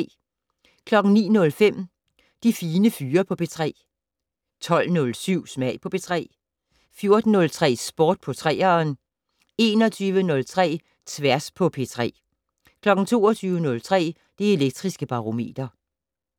09:05: De Fine Fyre på P3 12:07: Smag på P3 14:03: Sport på 3'eren 21:03: Tværs på P3 22:03: Det Elektriske Barometer